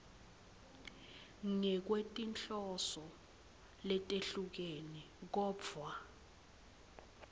ngekwetinhloso letehlukene kodvwa